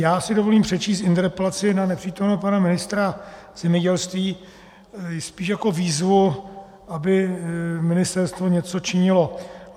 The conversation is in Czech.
Já si dovolím přečíst interpelaci na nepřítomného pana ministra zemědělství spíš jako výzvu, aby ministerstvo něco činilo.